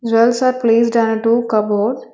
Jewels are placed on two cupboard.